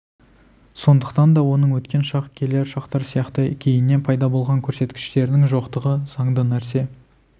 сондықтан да оның өткен шақ келер шақтар сияқты кейіннен пайда болған көрсеткіштерінің жоқтығы заңды нәрсе